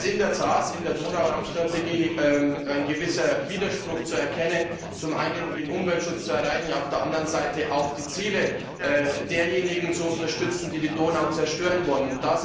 Es ist in der Tat in der Donauraum Strategie ein gewisser Widerspruch zu erkennen, zum einen die Ziele des Umweltschutzes zu erreichen, auf der anderen Seite auch die Ziele derjenigen zu unterstützen, die die Donau zerstören wollen.